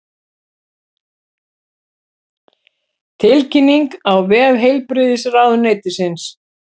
Tilkynningin á vef heilbrigðisráðuneytisins